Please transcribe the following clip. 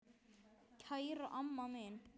Kæra amma mín.